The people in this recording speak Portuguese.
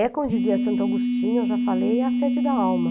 É como dizia Santo Agostinho, eu já falei, a sede da alma.